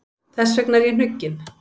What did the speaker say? Þess vegna er ég hnugginn.